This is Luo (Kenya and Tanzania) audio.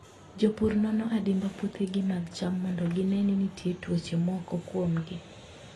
Jopur nono adimba puothegi mag cham mondo gine ni nitie tuoche moko kuomgi.